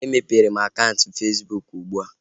E mepere m akaụntụ Fesbụụk ugbua